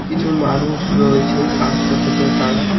কিছু মানুষ রয়েছে কাজ করতেছে তারা।